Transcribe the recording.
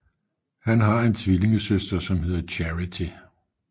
Han har en tvillingesøster som hedder Charity